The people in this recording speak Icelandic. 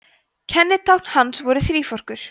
kennitákn hans voru þríforkur